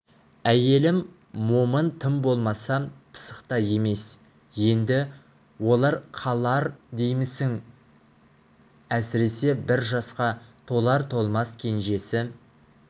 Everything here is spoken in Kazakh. әйелім момын тым болмаса пысық та емес енді олар қалар деймісің әсіресе бір жасқа толар-толмас кенжесі